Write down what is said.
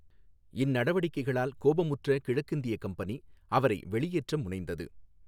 இந்நடவடிக்கைகளால் கோபமுற்ற கிழக்கிந்திய கம்பெனி அவரை வெளியேற்ற முனைந்தது.